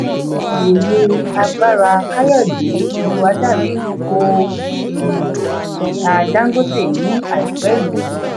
olùwòye agbára kayode oluwadare kò um ihà dangote ní àìpé yí.